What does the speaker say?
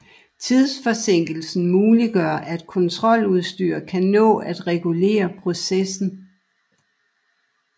Tidsforsinkelsen muliggør at kontroludstyr kan nå at regulere processen